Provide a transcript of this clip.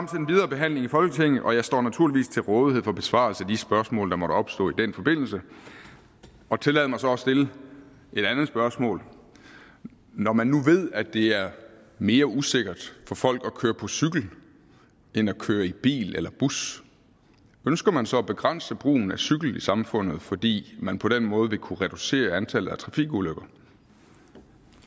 behandling i folketinget og jeg står naturligvis til rådighed for besvarelse af de spørgsmål der måtte opstå i den forbindelse tillad mig så at stille et andet spørgsmål når man nu ved at det er mere usikkert for folk at køre på cykel end at køre i bil eller bus ønsker man så at begrænse brugen af cykel i samfundet fordi man på den måde vil kunne reducere antallet af trafikulykker